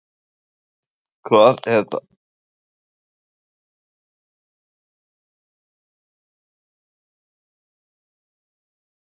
Hvað er það erfiðasta sem þú hefur upplifað í sambandi við meiðslin?